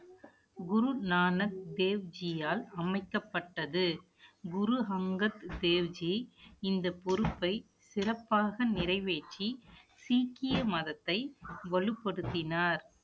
குரு நானக் தேவ்ஜியால் அமைக்கப்பட்டது குரு அங்கத் தேவ்ஜி, இந்த பொறுப்பை சிறப்பாக நிறைவேற்றி, சீக்கிய மதத்தை வலுப்படுத்தினார்